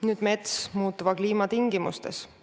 Nüüd metsast muutuva kliima tingimustes.